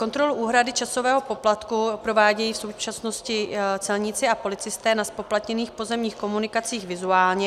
Kontrolu úhrady časového poplatku provádějí v současnosti celníci a policisté na zpoplatněných pozemních komunikacích vizuálně.